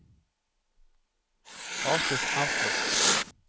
avslutt Outlook